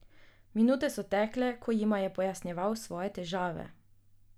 Minute so tekle, ko jima je pojasnjeval svoje težave.